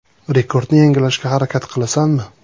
Rekordni yangilashga harakat qilasanmi?